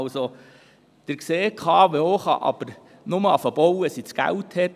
Wie Sie sehen, kann die KWO erst dann mit dem Bau beginnen, wenn sie das Geld hat.